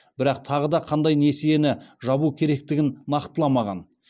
бірақ тағы да қандай несиені жабу керектігін нақтыламаған